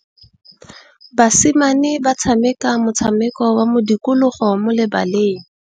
Basimane ba tshameka motshameko wa modikologô mo lebaleng.